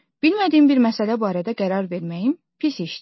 Bilmədiyim bir məsələ barədə qərar verməyim pis işdir.